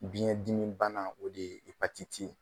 Biyɛn dimi bana o de ye.